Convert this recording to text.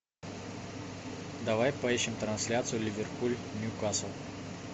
давай поищем трансляцию ливерпуль ньюкасл